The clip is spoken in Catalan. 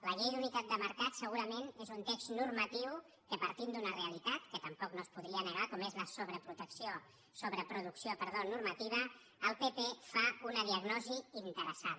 la llei d’unitat de mercat segurament és un text normatiu en què partint d’una realitat que tampoc no es podria negar com és la sobreproducció normativa el pp fa una diagnosi interessada